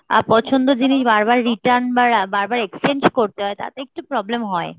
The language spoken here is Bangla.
পছন্দ জিনিস বার বার return বা বার বার exchange করতে হয় তাতে একটু problem হয়